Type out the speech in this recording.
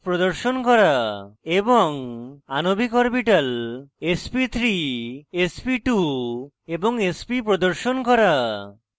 এবং আণবিক orbital sp3 sp2 এবং sp প্রদর্শন করা